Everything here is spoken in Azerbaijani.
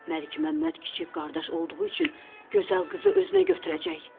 Məlikməmməd kiçik qardaş olduğu üçün gözəl qızı özünə götürəcək.